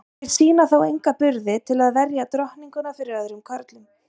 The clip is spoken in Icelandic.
Þeir sýna þó enga burði til að verja drottninguna fyrir öðrum körlum.